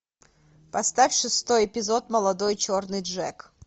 поставь шестой эпизод молодой черный джек